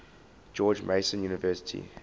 george mason university